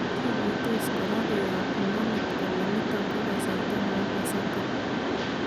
"Kikuitoos koraa koyaab imaniit kole niton ko kasarta nebo pasakaa.